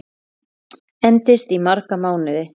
Endist í marga mánuði.